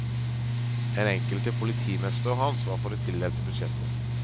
Den enkelte politimester har ansvaret for det tildelte budsjettet.